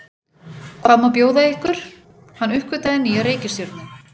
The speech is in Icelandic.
Hann uppgötvaði nýja reikistjörnu!